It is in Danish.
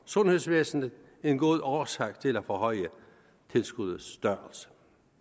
sundhedsvæsenet en god årsag til at forhøje tilskuddets størrelse